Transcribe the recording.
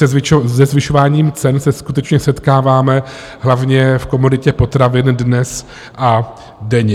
Se zvyšováním cen se skutečně setkáváme, hlavně v komoditě potravin, dnes a denně.